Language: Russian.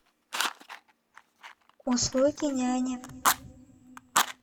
услуги няни